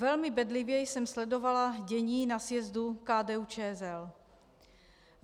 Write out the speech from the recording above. Velmi bedlivě jsem sledovala dění na sjezdu KDU-ČSL.